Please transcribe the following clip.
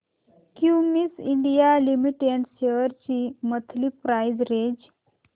Cummins India limited shares ची monthly price range